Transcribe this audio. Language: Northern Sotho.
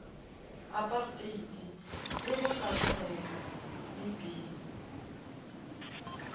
aparteiti le bopatriareka le b